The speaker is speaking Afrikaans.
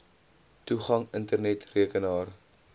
toegang internet rekenaar